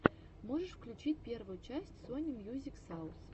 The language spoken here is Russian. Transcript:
можешь включить первую часть сони мьюзик саус